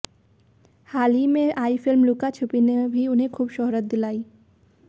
हाल ही में आई फिल्म लुका छुपी ने भी उन्हें खूब शोहरत दिलाई